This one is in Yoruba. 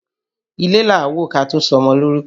Ilé là á wò ká tó sọmọ lórúkọ